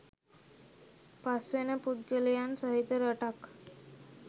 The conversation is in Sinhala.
පස් වෙන පුද්ගලයින් සහිත රටක්